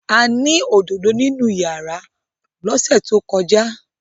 A ní òdodo nínú rárà lọ́sẹ̀ tó kọjá.